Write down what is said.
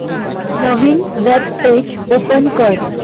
नवीन web page open कर